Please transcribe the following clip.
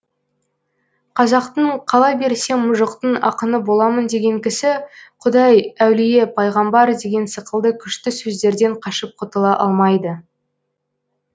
қазақтың қала берсе мұжықтың ақыны боламын деген кісі құдай әулие пайғамбар деген сықылды күшті сөздерден қашып құтыла алмайды